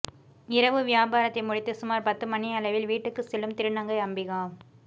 இரவு வியாபாரத்தை முடித்து சுமார் பத்து மணி அளவில் வீட்டுக்குச் செல்லும் திருநங்கை அம்பிகா